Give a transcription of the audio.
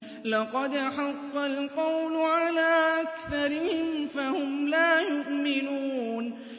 لَقَدْ حَقَّ الْقَوْلُ عَلَىٰ أَكْثَرِهِمْ فَهُمْ لَا يُؤْمِنُونَ